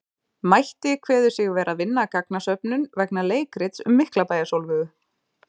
Mætti kveður sig vera að vinna að gagnasöfnun vegna leikrits um Miklabæjar-Sólveigu.